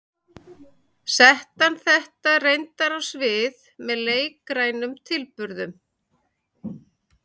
Setti hann þetta reyndar á svið með leikrænum tilburðum.